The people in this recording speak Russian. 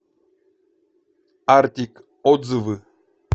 артик отзывы